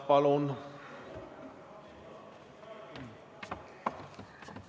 Palun!